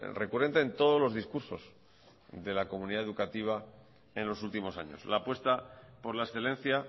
recurrente en todos los discursos de la comunidad educativa en los últimos años la apuesta por la excelencia